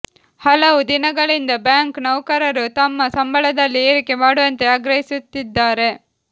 ಹಲವು ದಿನಗಳಿಂದ ಬ್ಯಾಂಕ್ ನೌಕರರು ತಮ್ಮ ಸಂಬಳದಲ್ಲಿ ಏರಿಕೆ ಮಾಡುವಂತೆ ಆಗ್ರಹಿಸುತ್ತಿದ್ದಾರೆ